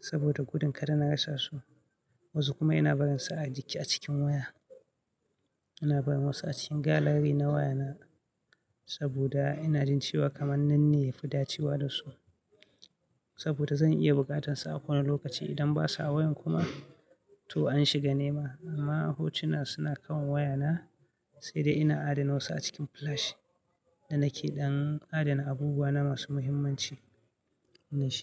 saboda gudun kada na rasa su, wasu kuma ina barinsa a jiki a cikin waya. Ina barin wasu a cikin gallery na wayana saboda ina jin cewa kamar nan ne ya fi dacewa da su saboda zan iya bukatansu a kowane lokaci idan basa a wayan kuma to an shiga nema. Amma hotuna suna kan wayana sai dai ina adana wasu a cikin flash da nake dan adana abubuwa na masu muhimmanci na ji.